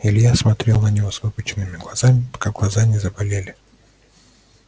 илья смотрел на него выпученными глазами пока глаза не заболели